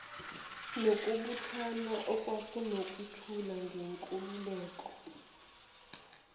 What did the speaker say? nokubuthana okunokuthula ngenkululeko